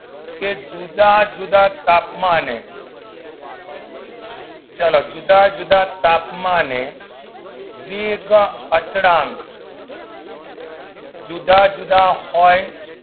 જુદા જુદા તાપમાને ચલો જુદા જુદા તાપમાને વેગ અચલાં જુદા જુદા હોય